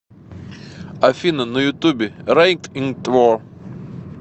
афина на ютубе райт ин тво